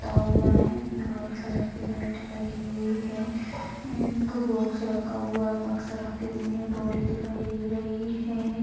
लगा हुआ है उसमे वाइट कलर की लाइटें लगी हुई है एक बॉक्स रखा हुआ है बक्सा रखे हुए है डोरी दिखाई दे रही है ।